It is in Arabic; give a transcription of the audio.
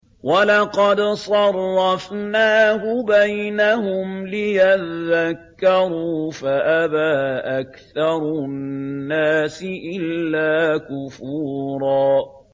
وَلَقَدْ صَرَّفْنَاهُ بَيْنَهُمْ لِيَذَّكَّرُوا فَأَبَىٰ أَكْثَرُ النَّاسِ إِلَّا كُفُورًا